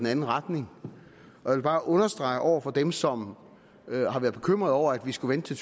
anden retning jeg vil bare understrege over for dem som har været bekymret over at vi skulle vente til